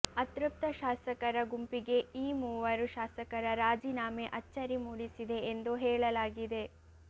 ಅತೃಪ್ತ ಶಾಸಕರ ಗುಂಪಿಗೆ ಈ ಮೂವರು ಶಾಸಕರ ರಾಜೀನಾಮೆ ಅಚ್ಚರಿ ಮೂಡಿಸಿದೆ ಎಂದು ಹೇಳಲಾಗಿದೆ